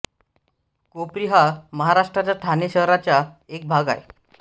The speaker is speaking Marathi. कोपरी हा महाराष्ट्राच्या ठाणे शहराचा एक भाग आहे